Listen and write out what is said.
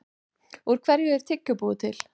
Úr hverju er tyggjó búið til?